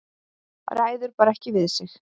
Ræður bara ekki við sig.